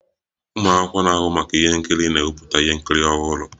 Ụmụ akwụkwọ na-ahụ maka ihe nkiri na-ewepụta ihe nkiri ọhụrụ